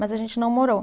Mas a gente não morou.